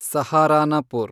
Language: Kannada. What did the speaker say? ಸಹಾರನಪುರ್